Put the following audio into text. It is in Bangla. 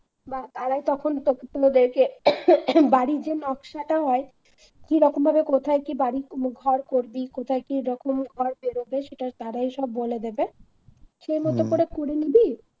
আর তা তখন তোদেরকে বাড়ি যে নকশাটা হয়, কোথায় কি কি রকম ভাবে বাড়ি ঘর করবি? কোথায় কি রকম ঘর বেরোবে সেটা তারাই সব বলে দেবে হম সে মতো করে করে নিবি